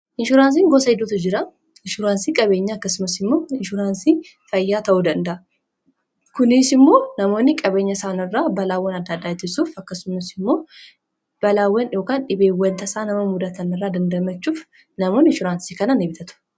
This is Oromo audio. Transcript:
Inshuraansiin gosa idduutu jira inshuuraansii qabeenya akkasumas immoo inshuraansii fayyaa ta'uu danda'a. Kuniis immoo namoonni qabeenya isaan irraa balaawwan addaadhaatisuuf akkasumas immoo balaawwann dhibeewwanta isaa namamuudatan irra dandamachuuf namoonn inshuraansii kanaan ibitatu.